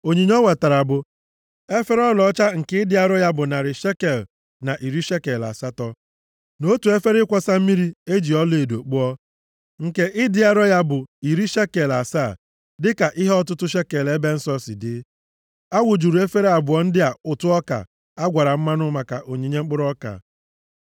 Onyinye o wetara bụ: efere ọlaọcha nke ịdị arọ ya bụ narị shekel na iri shekel atọ, na otu efere ịkwọsa mmiri e ji ọlaedo kpụọ nke ịdị arọ ya bụ iri shekel asaa, dịka ihe ọtụtụ shekel ebe nsọ si dị. A wụjuru efere abụọ ndị a ụtụ ọka a gwara mmanụ maka onyinye mkpụrụ ọka.